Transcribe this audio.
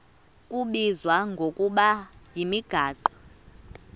kubizwa ngokuba yimigaqo